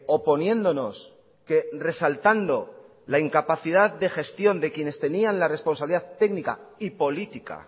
oponiéndonos que resaltando la incapacidad de gestión de quienes tenían la responsabilidad técnica y política